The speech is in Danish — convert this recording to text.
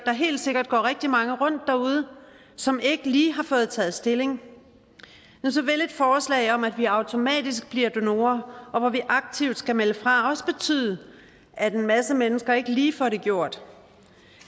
helt sikkert går rigtig mange rundt derude som ikke lige har fået taget stilling så vil et forslag om at vi automatisk bliver donorer og hvor vi aktivt skal melde fra også betyde at en masse mennesker ikke lige får det gjort